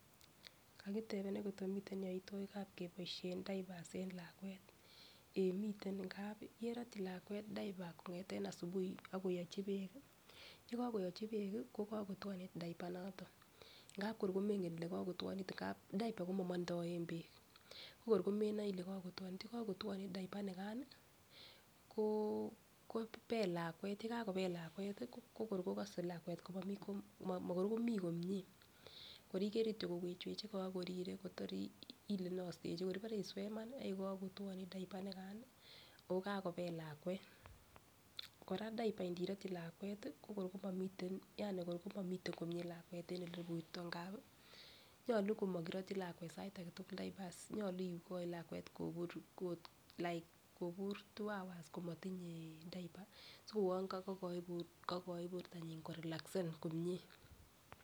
Kakitebenech Koko miten koimutikab keboishen kab keboishen diapers en lakwet eh miten ngap yerotyi lakwet diaper kongeten asubuhi ak koyochin beek kii yekokoyochi beek kii ko kokotwonit diaper noton ngap kor komenge kole kokotwonit ngap diaper komomondoen beek ko kor komenge kole kokotwoni. Yekokotwonit diaper nikan nii ko kobel lakwet, yekakobel lakwet ko kor kokose lakwet komomii kom mo kor komii komie kor ikere kityok kowech wechegee ak korire Kotor Ile inostechi ibore iswee Iman yekokotwonit diaper nikan nii okakobel lakwet. Koraa diaper nerotyin lakwet ko kor komomiten yani ko komomiten komie lakwet en ele iburto ngapi nyolu komokirotyin lakwet sait agetukul diapers nyolu ikoi lakwet kobur ot [ca]like kobur two hours komotinye diaper siko uwon kokoi bortonyin korelasen komie.